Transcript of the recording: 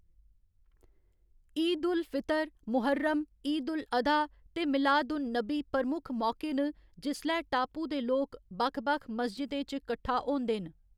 ईद उल फितर, मुहर्रम, ईद उल अधा ते मिलाद उन नबी प्रमुख मौके न जिसलै टापू दे लोक बक्ख बक्ख मस्जिदें च कट्ठा होंदे न।